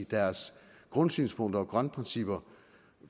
deres grundsynspunkter og grundprincipper